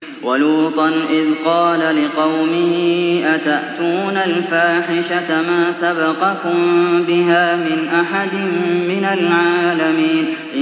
وَلُوطًا إِذْ قَالَ لِقَوْمِهِ أَتَأْتُونَ الْفَاحِشَةَ مَا سَبَقَكُم بِهَا مِنْ أَحَدٍ مِّنَ الْعَالَمِينَ